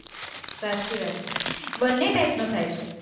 સાચી વાત છે, બંને type નું થાય છે,